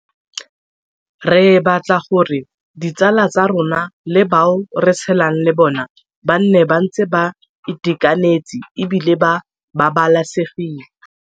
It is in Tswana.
Re batla gore ditsala tsa rona le bao re tshelang le bona ba nne ba ntse ba itekanetse e bile ba babalesegile.